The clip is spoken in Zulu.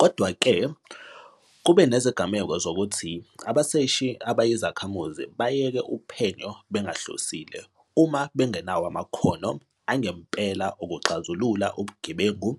Kodwa-ke, kube nezigameko zokuthi abaseshi abayizakhamuzi bayeke uphenyo bengahlosile uma bengenawo amakhono angempela okuxazulula ubugebengu